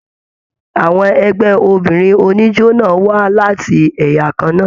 Àwọn ẹgbẹ obìnrin oníjó náà wá láti ẹyà kanna.